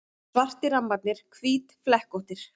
Svartir rammarnir hvítflekkóttir.